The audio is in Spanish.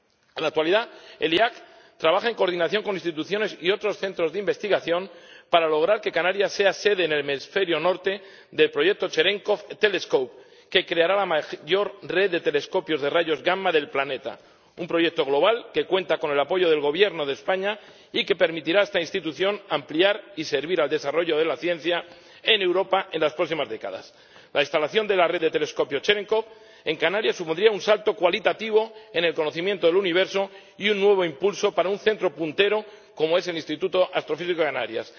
En la actualidad, el IAC trabaja en coordinación con instituciones y otros centros de investigación para lograr que Canarias sea sede en el hemisferio norte del proyecto Cherenkov Telescope, que creará la mayor red de telescopios de rayos gamma del planeta, un proyecto global que cuenta con el apoyo del Gobierno de España y que permitirá a esta institución ampliar y servir al desarrollo de la ciencia en Europa en las próximas décadas. La instalación de la red de telescopios Cherenkov en Canarias supondría un salto cualitativo en el conocimiento del universo y un nuevo impulso para un centro puntero como es el Instituto de Astrofísica de Canarias.